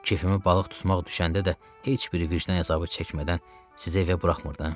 Keyfimi balıq tutmaq düşəndə də heç biri vicdan əzabı çəkmədən sizə evə buraxmırdım.